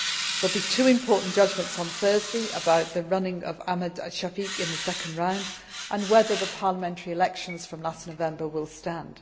There will be two important judgments on Thursday about the running of Ahmed Shafik in the second round and whether the parliamentary elections from last November will